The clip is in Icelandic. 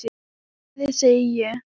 Komiði, segi ég!